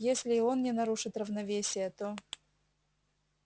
если и он не нарушит равновесия то